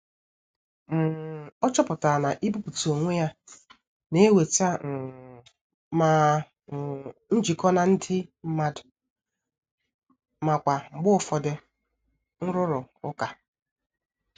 um O chọpụtara na ibuputa onwe ya na-eweta um ma um njikọ na ndị mmadụ ma kwa mgbe ụfọdụ nrụrụ ụka.